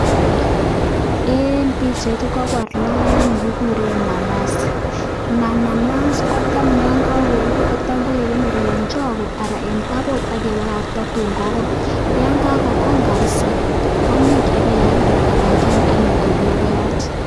ing pichait koporu lokoek nekikure nanasiat koya kokarur kekonori ing taput anan ko store akoi kokony kabisa komuch pekealda ing ndonyo.